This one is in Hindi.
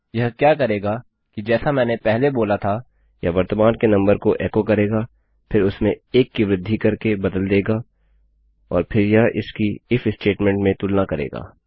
यह क्या करेगा कि जैसा मैंने पहले बोला था यह वर्तमान के नंबर को एको करेगा फिर उसमें 1 की वृद्धि करके बदल देगा और फिर यह इसकी इफ स्टेटमेंटstatement में तुलना करेगा